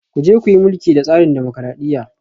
Ku je ku yi mulki da tsarin dimokuradiyya